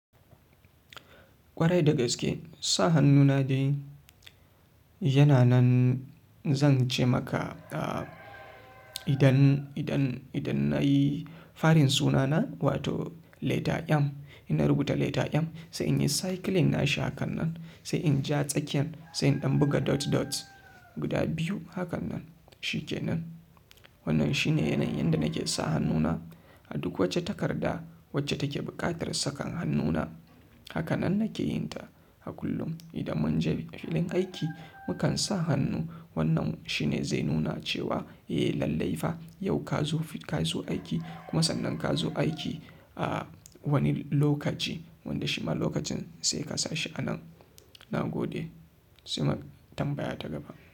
Kwarai da gaske sa hannuna dai yana nan. Zan ce maka idan, idan, idan na yi farin sunana, wato leta M, ina rubuta leta M, sai in yi cicling nashi hakan nan, sai in ja tsakiyan, sai in ɗan buga dot dot guda biyu hakan nan, shikenan. Wannan shine yanayin yanda nake sa hannuna a duk wata takarda wacce take buƙatar saka hannuna. Haka nan nake yin ta a kullum. Idan mun je filin aiki, mu kan sa hannu, wannan shine zai nuna cewa, eh lallai fa yau ka zo, ka zo aiki kuma sannan ka zo aiki a wani lokaci, wanda shi ma lokacin sai ka sa shi a nan. Na gode. Sai tambaya ta gaba.